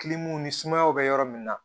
ni sumaya bɛ yɔrɔ min na